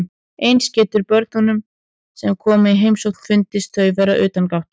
Eins getur börnunum sem koma í heimsókn fundist þau vera utangátta.